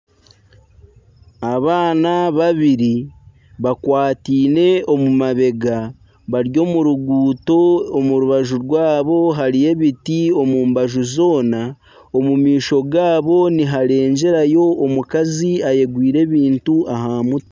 Abaana babiri bakwataine omu mabega bari omu ruguuto omu rubaju rwaabo hariyo ebiti omu mbaju zoona omu maisho gaabo niharegyerayo omukazi ayegwire ebintu aha mutwe.